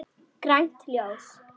Grænt ljós.